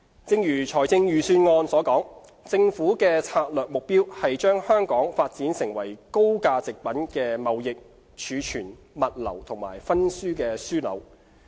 正如財政預算案所述，政府的策略目標是把香港發展為高價值貨品的貿易、儲存、物流及分銷樞紐。